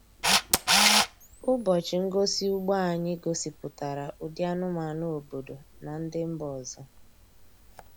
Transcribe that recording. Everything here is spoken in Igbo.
Ụbọchị ngosi ugbo anyị gosipụtara ụdị anụmanụ obodo na ndị mba ọzọ.